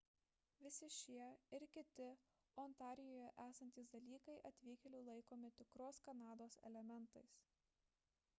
visi šie ir kiti ontarijuje esantys dalykai atvykėlių laikomi tikros kanados elementais